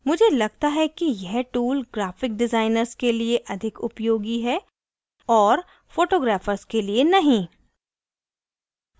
मुझे लगता है कि यह tool graphic डिज़ाइनर्स के लिए अधिक उपयोगी है और photographers के लिए नहीं